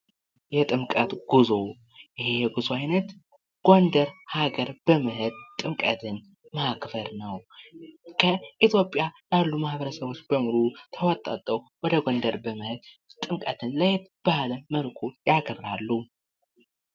የጥምቀት ጉዞ ይህ የጉዞ አይነት ጎንደር ሀገር በመሄድ ጥምቀትን ማክበር ነው:: ከኢትዮጵያ ካሉ ማህበረሰቦች በሙሉ ተወጣጥተው ወደ ጎንደር በመሄድ ጥምቀትን ለየት ባለ መልኩ ያከብራሉ::